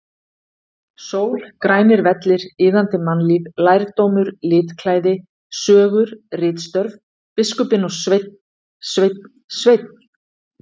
Sól, grænir vellir, iðandi mannlíf, lærdómur, litklæði, sögur, ritstörf, biskupinn og Sveinn, Sveinn, Sveinn!!!